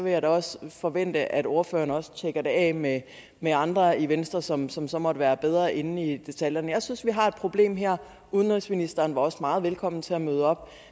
jeg da også forvente at ordføreren også tjekker det af med med andre i venstre som som så måtte være bedre inde i detaljerne jeg synes vi har et problem udenrigsministeren var også meget velkommen til at møde op